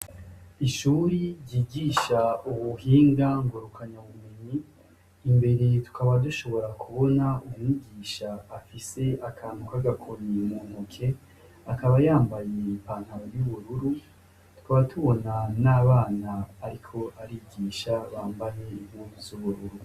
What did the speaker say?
Ishure ryigisha ubuhinga ngurukunabumenyi imbere tukaba dushobora kubona umwigisha afise akantu kagakoni mu ntoke akaba yambaye ipantaro y'ubururu tukaba tubona n'abana ariko arigisha bambaye impuzu z'ubururu.